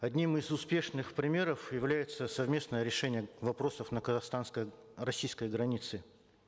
одним из успешных примеров является совместное решение вопросов на казахстанско российской границе